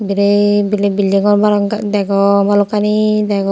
re biret biret building gor degong balokkani degong.